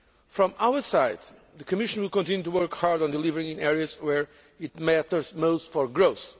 From our side the Commission will continue to work hard on delivering in areas where it matters most for growth.